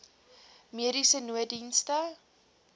mediese nooddienste